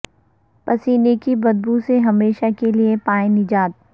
پسینے کی بد بو سے ہمیشہ کیلئے پائیں نجات